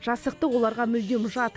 жасықтық оларға мүлдем жат